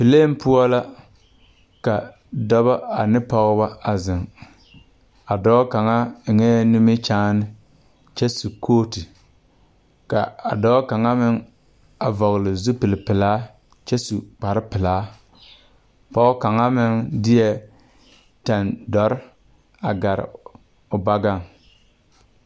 Pelen poɔ la ka dɛbɔ ane pɔgebɔ a zeŋ a dɔɔ kaŋa eŋɛɛ nimikyaane kyɛ su kootu dɔɔ kaŋa meŋ vɔgle zupilepelaa kyɛ su kparrepelaa pɔgekaŋa meŋ deɛ tandɔre a gare o bɔgaŋ.